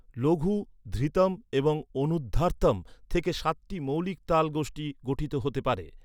লঘু, ধৃতম এবং অনুধার্তম থেকে সাতটি মৌলিক তাল গোষ্ঠী গঠিত হতে পারে।